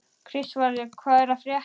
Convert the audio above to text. Kristvarður, hvað er að frétta?